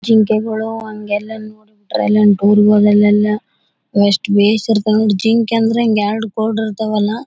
ಜಿಂಕೆಗಳು ಹಾಗೆಲ್ಲ ನೋಡ್ಬಿಟ್ರೆ ನನ್ ಟೂರ್ ಗೆ ಹೋದಲೆಲ್ಲಾ ಎಸ್ಟ್ ಬೇಸ್ ಇರ್ತವ ಜಿಂಕೆ ಎರಡು ಕೊಡು ಇರ್ತವೆ ಅಲ್ಲ.